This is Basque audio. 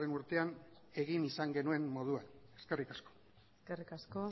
urtean egin izan genuen moduan eskerrik asko eskerrik asko